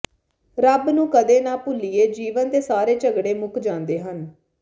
ਰੱਬ ਨੂੰ ਕਦੇ ਨਾਂ ਭੁੱਲੀਏ ਜੀਵਨ ਦੇ ਸਾਰੇ ਝਗੜੇ ਮੁੱਕ ਜਾਂਦੇ ਹਨ